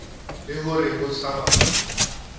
le ho re ho tshabanwe